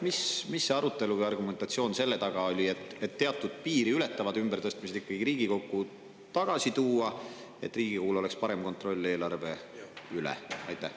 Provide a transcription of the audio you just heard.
Mis arutelu või argumentatsioon selle taga oli, et teatud piiri ületavad ümbertõstmised Riigikokku tagasi tuua, selleks et Riigikogul oleks parem kontroll eelarve üle?